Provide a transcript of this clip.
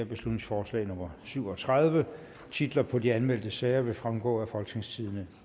beslutningsforslag nummer syv og tredive titlerne på de anmeldte sager vil fremgå af folketingstidende